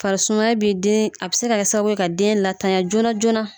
Farisumaya bɛ den a bɛ se ka kɛ sababu ye ka den latanya joona joona.